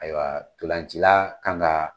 Ayiwa tolancila kan ka